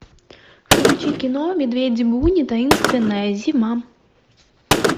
включи кино медведи буни таинственная зима